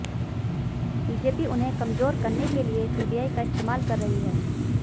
BJP उन्हें कमजोर करने के लिए सीबीआई का इस्तेमाल कर रही है